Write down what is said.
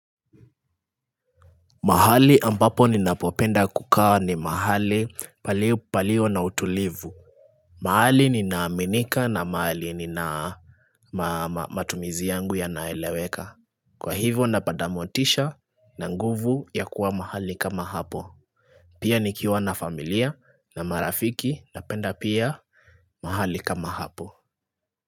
Mahali ambapo ninapopenda kukaa ni mahali palio na utulivu mahali ninaaminika na mahali nina matumizi yangu yanaeleweka Kwa hivyo napata motisha na nguvu ya kuwa mahali kama hapo Pia nikiwa na familia na marafiki napenda pia mahali kama hapo.